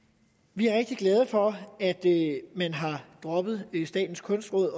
vi er rigtig glade for at man har droppet statens kunstråd